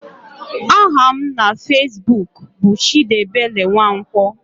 Aha m na fezbuk bụ Chidiebele Nwankwo.